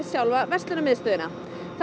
sjálfa verslunarmiðstöðina